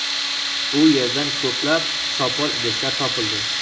U yerdan ko‘plab sopol idishlar topildi.